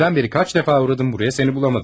Dündən bəri kaç dəfə uradım buraya, səni bulamadım.